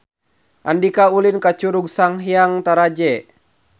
Andika ulin ka Curug Sanghyang Taraje